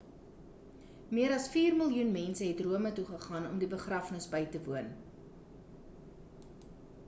oor vier miljoen mense het rome toe gegaan om die begrafnis by te woon